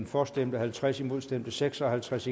for stemte halvtreds imod stemte seks og halvtreds